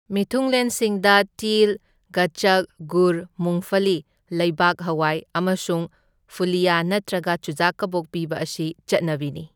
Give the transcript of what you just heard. ꯃꯤꯊꯨꯡꯂꯦꯟꯁꯤꯡꯗ ꯇꯤꯜ, ꯒꯆꯆꯛ, ꯒꯨꯔ, ꯃꯨꯡꯐꯂꯤ ꯂꯩꯕꯥꯛꯍꯋꯥꯏ ꯑꯃꯁꯨꯡ ꯐꯨꯂꯤꯌꯥ ꯅꯠꯇ꯭ꯔꯒ ꯆꯨꯖꯥꯛ ꯀꯕꯣꯛ ꯄꯤꯕ ꯑꯁꯤ ꯆꯠꯅꯕꯤꯅꯤ꯫